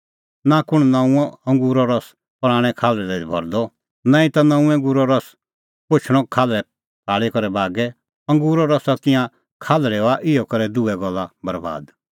नां कुंण नऊंअ अंगूरो रस पराणैं खाल्हल़ै दी भरदअ नांईं ता नऊंअ अंगूरो रस पोछणअ खाल्हल़ै फाल़ी करै बागै अंगूरो रस और तिंयां खाल्हल़ै हआ इहअ करै दुहै गल्ला बरैबाद